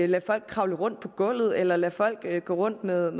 lade folk kravle rundt på gulvet eller lade folk gå rundt med